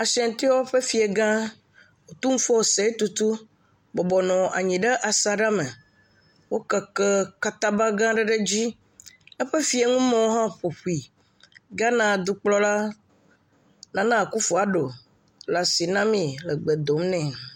Ashiantiwo ƒe fia gã Otumfo Osei Tutu bɔbɔnɔ anyi ɖe asaɖa me. Wo keke kata ba gʋ aɖe ɖ edzi. Eƒe fianumewo hã ƒoƒue. Ghana dukplɔla Nana Akuffo Addo le asi na mee le gbe dom nɛ.